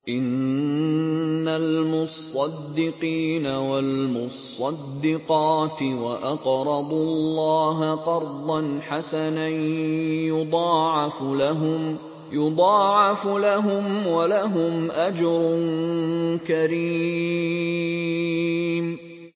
إِنَّ الْمُصَّدِّقِينَ وَالْمُصَّدِّقَاتِ وَأَقْرَضُوا اللَّهَ قَرْضًا حَسَنًا يُضَاعَفُ لَهُمْ وَلَهُمْ أَجْرٌ كَرِيمٌ